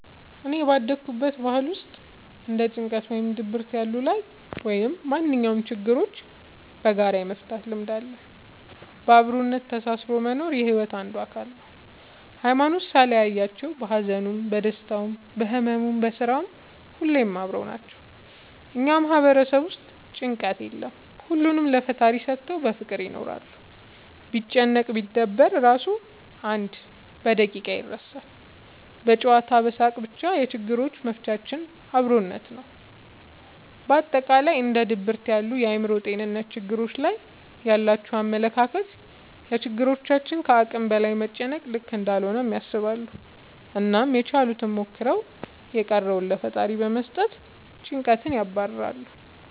እኔ ባደኩበት ባህል ውስጥ እንደ ጭንቀት ወይም ድብርት ያሉ ላይ ወይም ማንኛውም ችግሮችን በጋራ የመፍታት ልምድ አለ። በአብሮነት ተሳስሮ መኖር የሒወት አንዱ አካል ነው። ሀይማኖት ሳይለያቸው በሀዘኑም በደስታውም በህመሙም በስራውም ሁሌም አብረው ናቸው። እኛ ማህበረሰብ ውስጥ ጭንቀት የለም ሁሉንም ለፈጣሪ ሰተው በፍቅር ይኖራሉ። ቢጨነቅ ቢደበር እራሱ አንድ በደቂቃ ይረሳል በጨዋታ በሳቅ በቻ የችግሮች መፍቻችን አብሮነት ነው። በአጠቃላይ እንደ ድብርት ያሉ የአእምሮ ጤንነት ትግሎች ላይ ያላቸው አመለካከት ለችግሮች ከአቅም በላይ መጨነቅ ልክ እንዳልሆነ ያስባሉ አናም ያችሉትን ሞክረው የቀረውን ለፈጣሪ በመስጠት ጨንቀትን ያባርራሉ።